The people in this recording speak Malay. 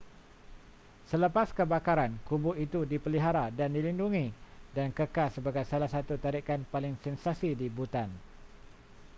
selepas kebakaran kubu itu dipelihara dan dilindungi dan kekal sebagai salah satu tarikan paling sensasi di bhutan